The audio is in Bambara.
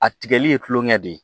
A tigɛli ye kulɔŋɛ de ye